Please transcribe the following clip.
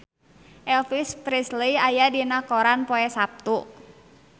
Elvis Presley aya dina koran poe Saptu